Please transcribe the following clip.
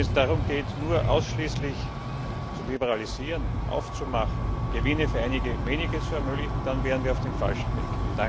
Wenn es darum geht, ausschließlich zu liberalisieren, aufzumachen, Gewinne für einige wenige zu ermöglichen, dann wären wir auf dem falschen Weg.